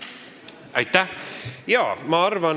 Aitäh!